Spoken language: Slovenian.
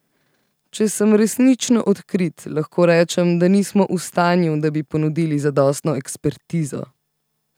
Če sem resnično odkrit, lahko rečem, da nismo v stanju, da bi ponudili zadostno ekspertizo.